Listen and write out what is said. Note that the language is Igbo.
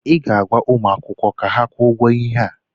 ị ga-agwa ụmụ akwụkwọ ka ha kwụọ ụgwọ ihe a?